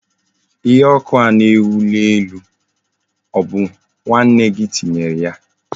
Ihe oku ahụ na enwu na elu, obu nwanne gi tinyere ya?